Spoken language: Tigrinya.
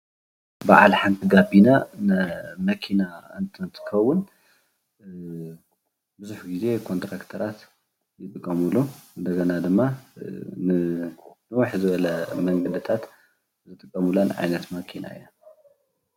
በዓል ሓንቲ ጋቤና ንመኪና እንትን እንትከውን ቡዙሕ ግዜ ኮንትራክተራት ዝጥቀሙሉ እንደገና ድማ ንውሕ ዝበለ መንገድታት ዝጥቀሙለን ዓይነት መኪና እየን፡